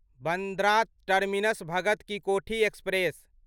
Bandra terminus Bhagat Ki Kothi express